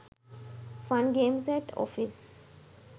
fun games at office